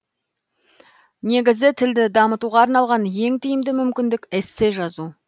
негізі тілді дамытуға арналған ең тиімді мүмкіндік эссе жазу